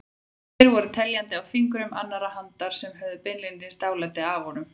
Þeir voru teljandi á fingrum annarrar handar sem höfðu beinlínis dálæti á honum.